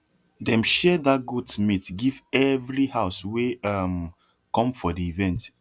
dem share that goat meat give every house wey um come for the event